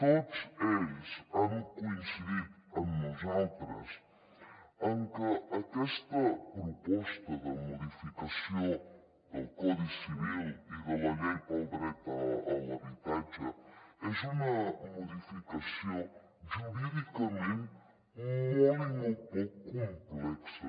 tots ells han coincidit amb nosaltres en que aquesta proposta de modificació del codi civil i de la llei pel dret a l’habitatge és una modificació jurídicament molt i molt poc complexa